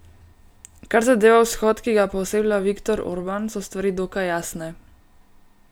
Kar zadeva vzhod, ki ga pooseblja Viktor Orban, so stvari dokaj jasne.